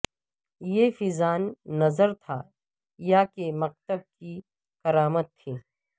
یہ فیضان نطر تھا یا کہ مکتب کی کرامت تھی